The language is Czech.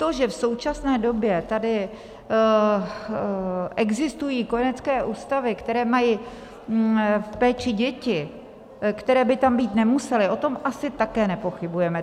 To, že v současné době tady existují kojenecké ústavy, které mají v péči děti, které by tam být nemusely, o tom také asi nepochybujeme.